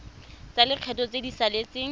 tsa lekgetho tse di saletseng